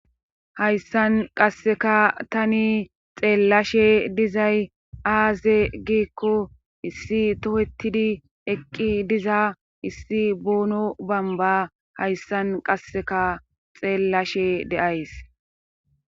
hayssan qasseka tani xeellashe dizay aaze giikko issi tohettidi eqqi diza issi boono bamba hayssan qasseka xeellashe deays